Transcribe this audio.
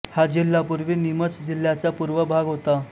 हा जिल्हा पूर्वी निमच जिल्ह्याचा पूर्व भाग होता